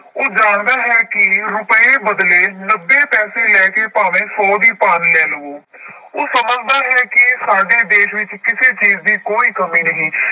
ਉਹ ਜਾਣਦਾ ਹੈ ਕਿ ਰੁਪਏ ਬਦਲੇ ਨੱਬੇ ਪੈਸੇ ਲੈ ਕੇ ਭਾਵੇਂ ਸੌ ਦੀ ਭਾਨ ਲੈ ਲਓ ਉਹ ਸਮਝਦਾ ਹੈ ਕਿ ਸਾਡੇ ਦੇਸ ਵਿੱਚ ਕਿਸੇ ਚੀਜ਼ ਦੀ ਕੋਈ ਕਮੀ ਨਹੀਂ।